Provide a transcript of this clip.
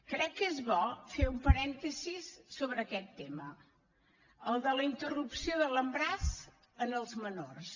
crec que és bo fer un parèntesi sobre aquest tema el de la interrupció de l’embaràs en les menors